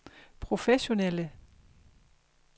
professionelle